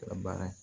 Baara ye